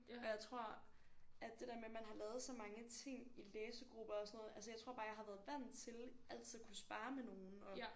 Og jeg tror at det der med at man har lavet så mange ting i læsegrupper og sådan noget altså jeg tror bare jeg har været vandt til altid at kunne sparre med nogen